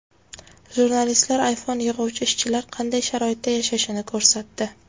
Jurnalistlar iPhone yig‘uvchi ishchilar qanday sharoitda yashashini ko‘rsatdi.